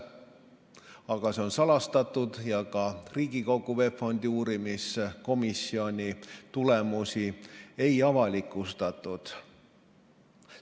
Aga see info on salastatud ja Riigikogu VEB Fondi uurimise komisjoni tulemusi ei avalikustatud.